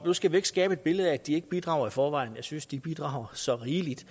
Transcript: nu skal vi ikke skabe et billede af at de ikke bidrager i forvejen jeg synes de bidrager så rigeligt